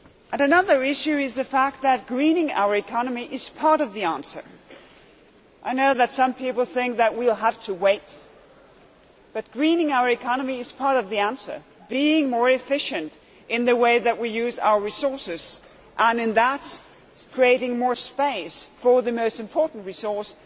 Another issue is the fact that greening our economy is part of the answer. I know that some people think that we will have to wait, but greening our economy is part of the answer being more efficient in the way that we use our resources and, in so doing, creating more space for the most important resource